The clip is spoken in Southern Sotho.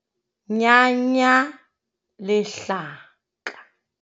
Nyanya lehlaka.